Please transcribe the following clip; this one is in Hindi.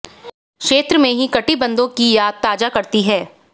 क्षेत्र में ही कटिबंधों की याद ताजा करती है